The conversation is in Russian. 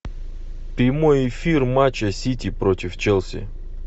прямой эфир матча сити против челси